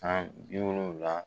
San bi wolonwula